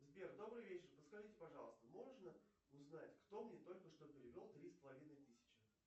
сбер добрый вечер подскажите пожалуйста можно узнать кто мне только что перевел три с половиной тысячи